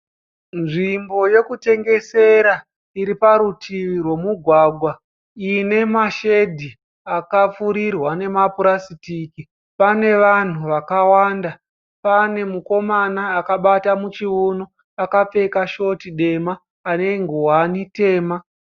Nzvimbo yokutengesera iri parutivi rwomugwagwa ine mashedhi akapfurirwa nemapurasitiki. Pane vanhu vakawanda. Pane mukomana akabata muchiuno akapfeka shoti dema ane nguwani tema.